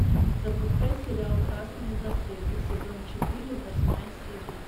запускай сериал красные браслеты сезон четыре восьмая серия